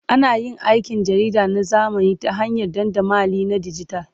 Ana yin aikin jarida na zamani ta hanyar dandamali na dijital.